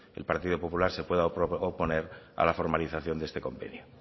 el partido popular se pueda oponer a la formalización de este convenio